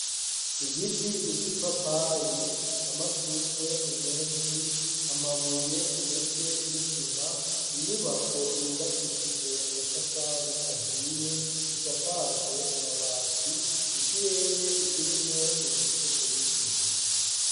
Igiti c'ipapayi, amashugwe menshi ,amabuye ndetse n'isima, inyubako yubakishije amatafari ahiye isakajwe amabati, ikirere kirimwo ibicu bike.